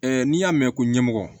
n'i y'a mɛn ko ɲɛmɔgɔ